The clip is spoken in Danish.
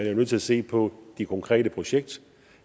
jo nødt til at se på det konkrete projekt